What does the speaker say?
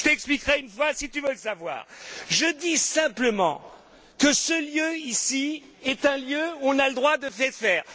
Je t'expliquerai une fois si tu veux le savoir. Je dis simplement que ce lieu, ici, est un lieu où on a le droit de tout dire.